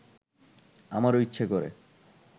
আমারও ইচ্ছে করে